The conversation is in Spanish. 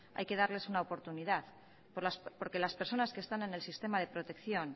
hay que darles una oportunidad porque las personas que están en el sistema de protección